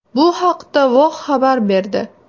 Bu haqda Vox xabar berdi .